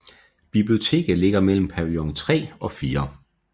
Biblioteket ligger mellem pavillon 3 og 4